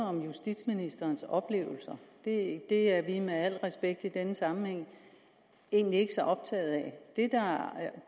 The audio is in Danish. om justitsministerens oplevelser det det er vi med al respekt i denne sammenhæng egentlig ikke så optaget af